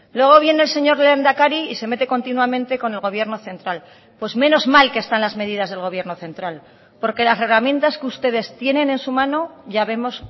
luego viene el señor lehendakari y se mete continuamente con el gobierno central pues menos mal que están las medidas del gobierno central porque las herramientas que ustedes tienen en su mano ya vemos